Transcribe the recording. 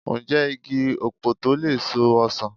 Ǹjẹ́ igi ọ̀pọ̀tọ́ lè so ọsàn?